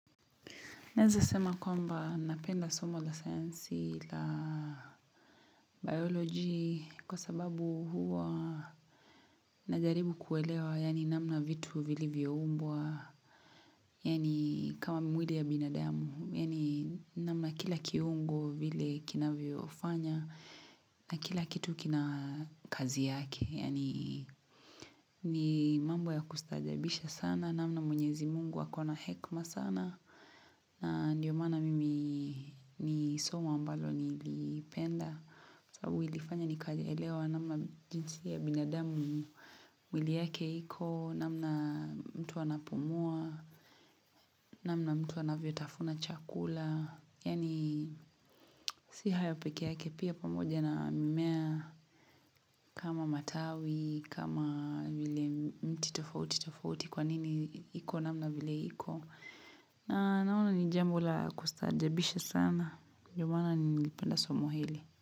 Naeza sema kwamba napenda somo la sayansi la biology kwa sababu huwa najaribu kuelewa yani namna vitu vilivyoumbwa yani kama mwili ya binadamu yani namna kila kiungo vile kina vyofanya na kila kitu kina kazi yake yani ni mambo ya kustaajabisha sana namna mwenyezi Mungu akona hekma sana na ndio mana mimi ni somo ambalo nilipenda. Sabu ilifanya nikaelewa namna jinsi ya binadamu mwili yake iko, namna mtu anapumua, namna mtu anavyotafuna chakula. Yani si haya peke yake pia pamoja na mimea kama matawi, kama vile mti tofauti tofauti kwanini iko namna vile iko. Naona ni jambo la kustaajabisha sana. Ndomana ni penda somo hili.